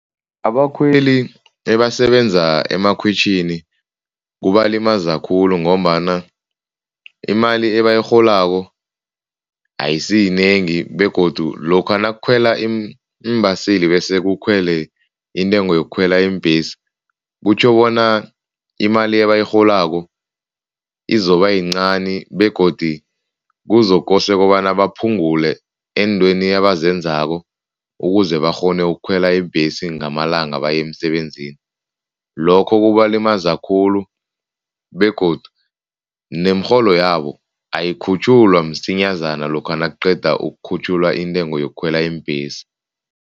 Abakhweli ebasebenza emakhwitjhini kubalimaza khulu ngombana imali ebayirholako ayisiyinengi begodu lokha nakukhwela iimbaseli bese kukhwele intengo yokukhwela iimbhesi, kutjho bona imali ebayirholako izobayincani begodu kuzokosa kobana baphungule eentweni abazenzako ukuze bakghone ukukhwela iimbhesi ngamalanga baye emsebenzini. Lokho kubalimaza khulu begodu nemirholo yabo ayikhutjhulwa msinyazana lokha nakuqeda ukukhutjhulwa intengo yokukhwela iimbhesi.